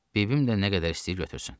Bibim də nə qədər istəyir götürsün.